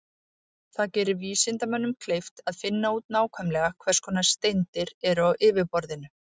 Það gerir vísindamönnum kleift að finna út nákvæmlega hvers konar steindir eru á yfirborðinu.